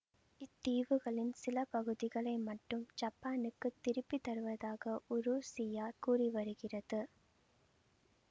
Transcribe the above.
இத்தீவுகளின் சில பகுதிகளை மட்டும் சப்பானுக்குத் திருப்பி தருவதாக உருசியா கூறிவருகிறது